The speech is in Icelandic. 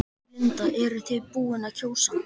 Linda: Eruð þið búin að kjósa?